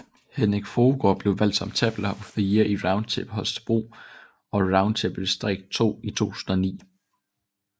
Henrik Fruergaard blev valgt som Tabler of the Year i Round Table Holstebro og Round Table Distrikt 2 i 2009